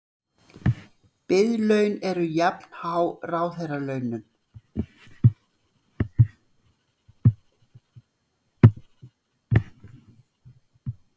Biðlaun eru jafnhá ráðherralaunum